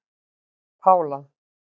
Pála